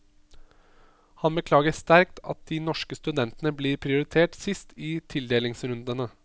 Han beklager sterkt at de norske studentene blir prioritert sist i tildelingsrundene.